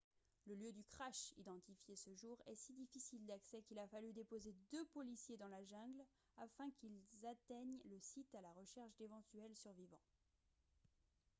le lieu du crash identifié ce jour est si difficile d'accès qu'il a fallu déposer deux policiers dans la jungle afin qu'ils atteignent le site à la recherche d'éventuels survivants